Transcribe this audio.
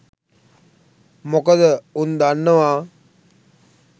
මොකදඋන්දන්නවා